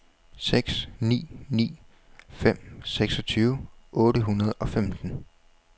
seks ni ni fem seksogtyve otte hundrede og femten